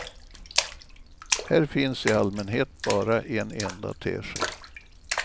Här finns i allmänhet bara en enda tesked.